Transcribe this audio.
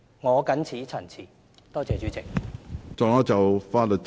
我謹此陳辭，多謝主席。